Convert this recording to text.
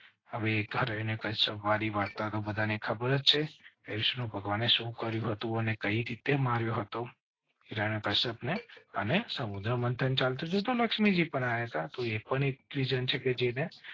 હવે વાત તો બધા ને ખબર છે. અને સુ કર્યું હતું ને કઈ રીતે માર્યો હતો? અને સમુદ્ર મંથન ચાલ તો લક્ષ્મી જી બનાયા થા તો એ પણ એક રિજન છે. જી ને